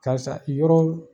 Karisa i yɔrɔ